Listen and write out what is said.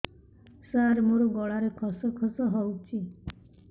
ସାର ମୋ ଗଳାରେ ଖସ ଖସ ହଉଚି